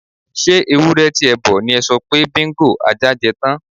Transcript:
S̩e ewúré̩ ti e̩ bo̩ ni e̩ so̩ pé Bingo (ajá) je̩ tán?